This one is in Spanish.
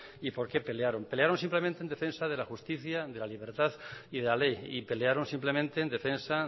y por qué pelearon pelearon simplemente en defensa de la justicia de la libertad y de la ley y pelearon simplemente en defensa